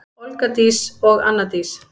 Olga Dís og Anna Dís.